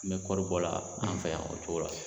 N bɛ kɔri bɔ la o cogo la an fɛ yan o cogo la.